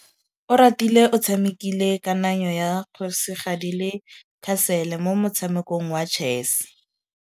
Oratile o tshamekile kananyô ya kgosigadi le khasêlê mo motshamekong wa chess.